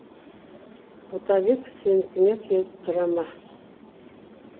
ботабек сенікіне келіп тұра ма